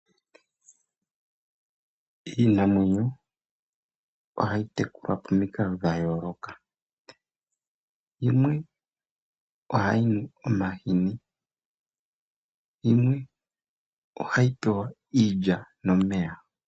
Iinamwenyo ohayi tekulwa pamikalo dha yooloka, yimwe ohayi nu omahini, yimwe ohayi pewa iilya nomeya.